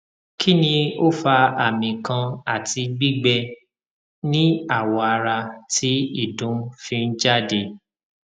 kini o fa ami kan ati gbigbe ni awo ara ti idun fi n jade